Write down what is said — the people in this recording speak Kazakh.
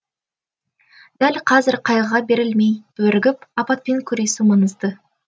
дәл қазір қайғыға берілмей бірігіп апатпен күресу маңызды